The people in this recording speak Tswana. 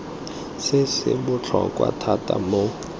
se se botlhokwa thata mo